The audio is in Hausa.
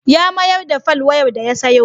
Ya mayar da folwayar da ya sayo.